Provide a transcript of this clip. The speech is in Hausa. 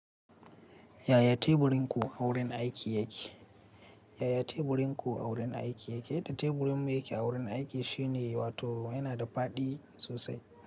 Yaya teburin ku a wurin aiki yake? Yaya teburin ku a wurin aiki yake? Da teburin mu yake a wurin aiki shine, wato yana da faɗi sosai.